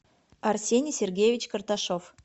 арсений сергеевич карташов